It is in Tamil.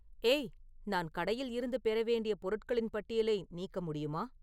ஏய் நான் கடையில் இருந்து பெற வேண்டிய பொருட்களின் பட்டியலை நீக்க முடியுமா